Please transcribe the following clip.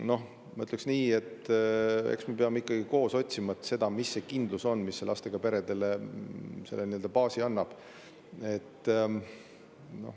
Noh, ma ütleks nii, et eks me peame ikkagi koos otsima seda, mis see on, mis lastega peredele kindluse ja baasi annab.